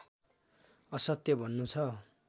असत्य भन्नु छ